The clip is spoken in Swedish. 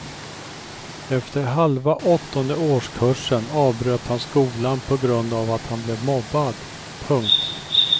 Efter halva åttonde årskursen avbröt han skolan på grund av att han blev mobbad. punkt